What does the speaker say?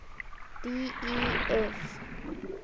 d e f